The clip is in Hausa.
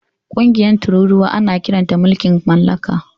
Ƙungiyar tururuwa ana kiranta mulkin mallaka.